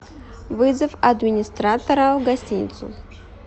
вызов администратора в гостиницу